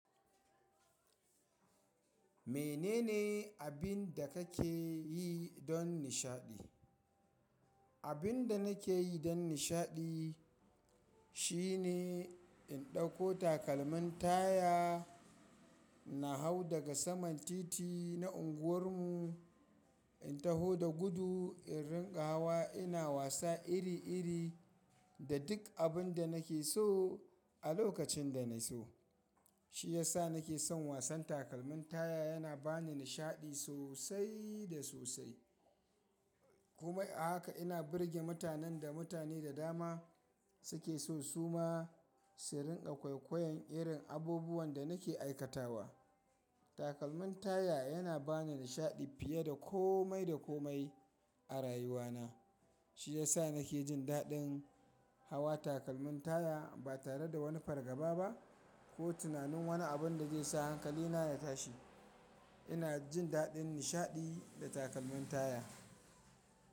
Menene abin da kake yi don nishaɗi? Abin da nake yi don nishaɗi shine in ɗauko takalmin taya na hau daga saman titi na unguwarmu, in taho da gudu in rinƙa hawa. Ina wasa iri-iri da duk abin da nake so a lokacin da na so. Shi ya sa nake son wasan takalmin taya. Yana bani nishaɗi sosai da sosai. Kuma a haka ina birge mutanen da mutane da dama suke so su ma su rinƙa kwaikwayon irin abubuwan da nake aikatawa. Takalmin taya yana bani nishaɗi fiye da komai da komai a rayuwana. Shi ya sa nake jin daɗin hawa takalmin taya ba tare da wani fargaba ba ko tunanin wani abin da zai sa hankalina ya tashi. Ina jin daɗin nishaɗi da takalmin taya.